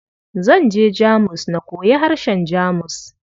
Zan je Jamus na koyi harshen Jamus.